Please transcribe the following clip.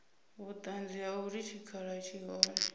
vhuṱanzi ha uri tshikhala tshi hone